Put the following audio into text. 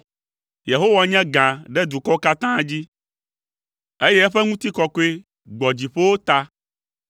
Yehowa nye gã ɖe dukɔwo katã dzi, eye eƒe ŋutikɔkɔe gbɔ dziƒowo ta.